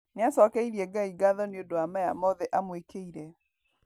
Niacokeirie Ngai ngatho nĩndũ wa maya mothe amwĩkĩire.